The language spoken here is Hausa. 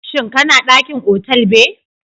shin kana dakin otal be?